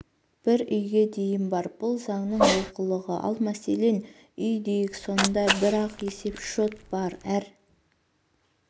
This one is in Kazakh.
бір үйге дейін бар бұл заңның олқылығы ал мәселен үй дейік сонда бір-ақ есепшот бар әр